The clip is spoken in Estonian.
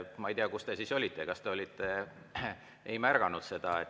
Ma ei tea, kus teie siis olite ja kas te olite siin, kui te ei märganud seda.